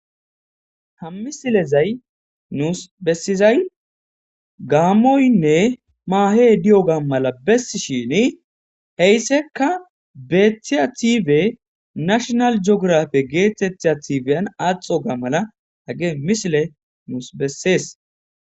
Ha misilezay nuus bessizay gaammoynne maahe di'o ga mala bessi shini heyssekka beeththia tiife nashonal jiografe geettethea tifeyan aaxo ga mala hage misile nuus bessees.